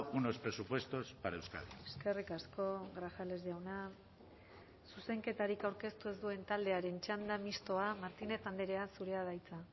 unos presupuestos para euskadi eskerrik asko grajales jauna zuzenketarik aurkeztu ez duen taldearen txanda mistoa martínez andrea zurea da hitza